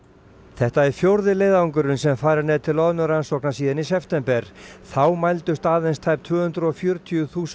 þetta er fjórði leiðangurinn sem farinn er til loðnurannsókna síðan í september þá mældust aðeins tæp tvö hundruð og fjörutíu þúsund